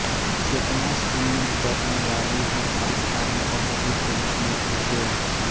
चेतनाशून्य करनेवाली एक स्थानीय औषधि के रूप में कोकेन